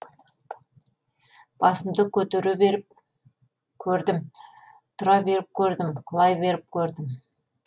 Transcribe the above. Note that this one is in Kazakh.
басымды көтере беріп көрдім тұра беріп көрдім құлай беріп көрдім